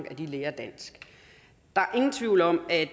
at lære dansk der er ingen tvivl om at